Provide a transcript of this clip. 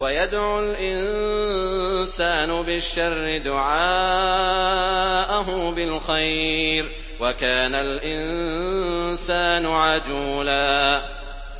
وَيَدْعُ الْإِنسَانُ بِالشَّرِّ دُعَاءَهُ بِالْخَيْرِ ۖ وَكَانَ الْإِنسَانُ عَجُولًا